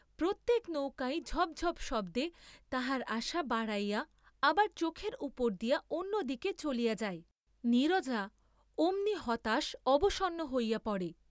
প্রত্যেক নৌকাই ঝপ ঝপ্ শব্দে তাহার আশা বাড়াইয়া আবার চোখের উপর দিয়া অন্য দিকে চলিয়া যায়, নীরজা অমনি হতাশ অবসন্ন হইয়া পড়ে।